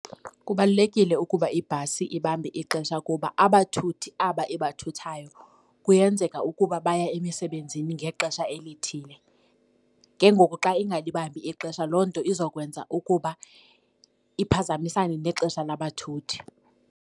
Kubalulekile ukuba ibhasi ibambe ixesha kuba abathuthi aba ibathayo kuyenzeka ukuba baya emisebenzini ngexesha elithile. Ke ngoku xa ingalibambi ixesha loo nto izokwenza ukuba iphazamisane nexesha labathuthi.